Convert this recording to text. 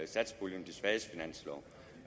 satspuljen de svages finanslov